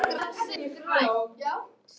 Af hverju er grasið grænt?